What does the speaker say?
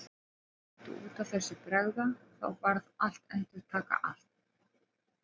Aldrei mátti út af þessu bregða, þá varð að endurtaka allt.